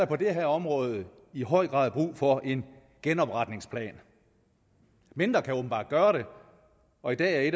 på det her område i høj grad brug for en genopretningsplan mindre kan åbenbart gøre det og i dag